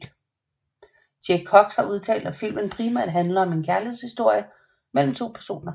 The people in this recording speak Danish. Jay Cox har udtalt at filmen primært handler om en kærlighedshistorie mellem to personer